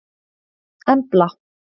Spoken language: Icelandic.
Embla